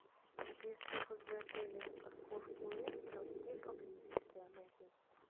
если возле отеля парковки нет то где поблизости она есть